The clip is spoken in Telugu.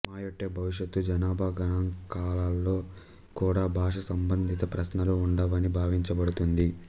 మయొట్టె భవిష్యత్తు జనాభా గణాంకాలలో కూడా భాషా సంబంధిత ప్రశ్నలు ఉండవని భావించబడుతుంది